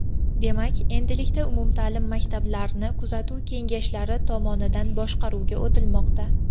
Demak, endilikda umumta’lim maktablarni kuzatuv kengashlari tomonidan boshqaruvga o‘tilmoqda.